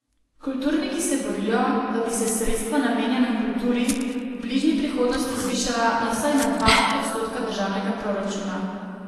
Kulturniki se borijo, da bi se sredstva, namenjena kulturi, v bližnji prihodnosti zvišala na vsaj na dva odstotka državnega proračuna.